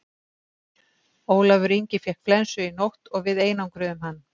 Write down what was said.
Ólafur Ingi fékk flensu í nótt og við einangruðum hann.